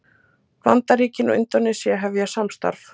Bandaríkin og Indónesía hefja samstarf